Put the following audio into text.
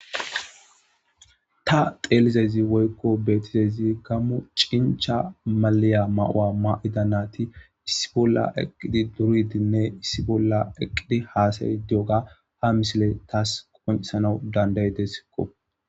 Ta xelizayss woyikko betizayss gammo cencha maliya ma'uwa mayida nati issi bolla eqidi duridinne issi bolla hassayido diyoga ha missiley tas qoncisans dandayideskko